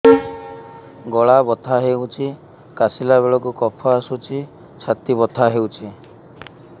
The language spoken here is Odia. ଗଳା ବଥା ହେଊଛି କାଶିଲା ବେଳକୁ କଫ ଆସୁଛି ଛାତି ବଥା ହେଉଛି